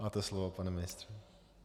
Máte slovo, pane ministře.